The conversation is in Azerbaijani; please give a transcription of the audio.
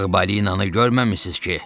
Ağ balinanı görməmisiniz ki?